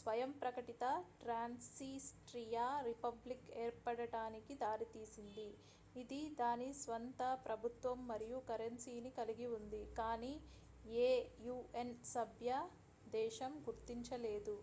స్వయం ప్రకటిత Transnistria republic ఏర్పడటానికి దారితీసింది ఇది దాని స్వంత ప్రభుత్వం మరియు కరెన్సీని కలిగి ఉంది కానీ ఏ un సభ్య దేశం గుర్తించలేదు